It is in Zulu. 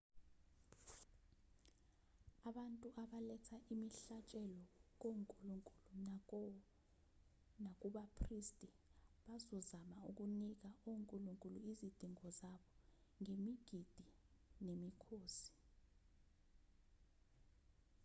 abantu abaletha imihlatshelo konkulunkulu nakubaphristi bazozama ukunika onkulunkulu izidingo zabo ngemigidi nemikhosi